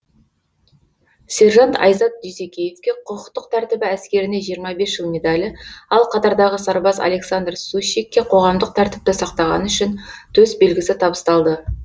сержант айзат дүйсекеевке құқықтық тәртібі әскеріне жиырма бес жыл медалі ал қатардағы сарбаз александр сущикке қоғамдық тәртіпті сақтағаны үшін төсбелгісі табысталды